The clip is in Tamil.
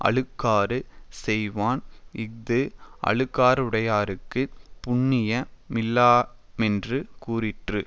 அழுக்காறு செய்வான் இஃது அழுக்காறுடையார்க்குப் புண்ணிய மில்லையாமென்று கூறிற்று